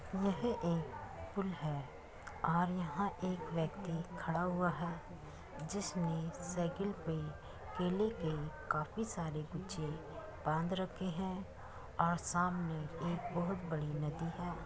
यह एक पुल है और यहाँ एक व्यक्ति खड़ा हुआ है जिसने साइकिल पे केले के काफी सारे गुच्छे बांध रखे है और सामने एक बहुत बड़ी नदी है।